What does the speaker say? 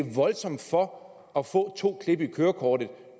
er voldsomt for at få to klip i kørekortet